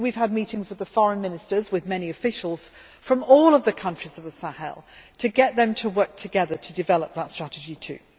We have had meetings with the foreign ministers and with many officials from all of the countries of the Sahel to get them to work together to develop that strategy too.